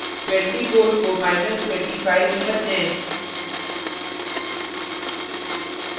24 को minus 25 में बदलें